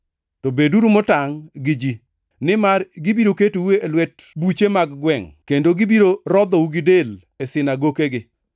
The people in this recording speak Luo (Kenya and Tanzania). “To beduru motangʼ gi ji, nimar gibiro ketou e lwet buche mag gwengʼ, kendo gibiro rodhou gi del e sinagokegi.